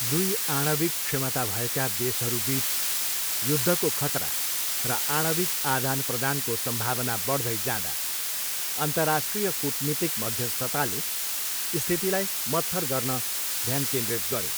दुई आणविक क्षमता भएका देशहरूबिच युद्धको खतरा र आणविक आदानप्रदानको सम्भावना बढ्दै जाँदा, अन्तर्राष्ट्रिय कूटनीतिक मध्यस्थताले स्थितिलाई मत्थर गर्न ध्यान केन्द्रित गऱ्यो।